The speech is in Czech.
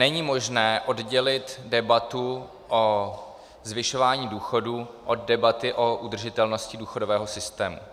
Není možné oddělit debatu o zvyšování důchodů od debaty o udržitelnosti důchodového systému.